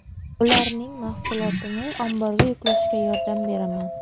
Ularning mahsulotini omborga yuklashga yordam beraman.